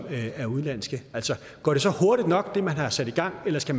er udenlandske altså går det så hurtigt nok ting man har sat i gang eller skal